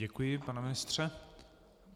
Děkuji, pane ministře.